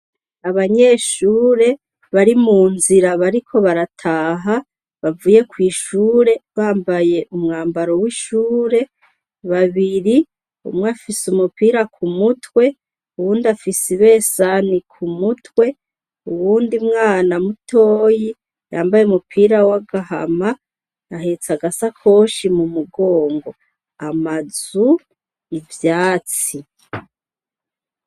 Abanyeshure bari mu nzira bariko barataha bavuye kw'ishure bambaye umwambaro w'ishure babiri umwe afise umupira ku mutwe uwundi afise ibesani ku mutwe uwundi mwana mutoyi yambaye umupira wa gahama ahetse agasakoshi mu mugongo amazu ivyatsi.